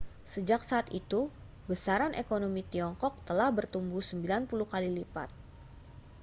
sejak saat itu besaran ekonomi tiongkok telah bertumbuh 90 kali lipat